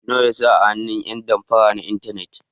Nawa ya rasa a hannun ƴan damfara na intanet.